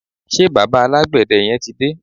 ṣe bàbá alágbède yẹn ti dé?